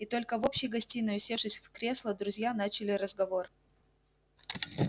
и только в общей гостиной усевшись в кресла друзья начали разговор